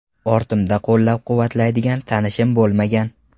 Ortimda qo‘llab-quvvatlaydigan tanishim bo‘lmagan.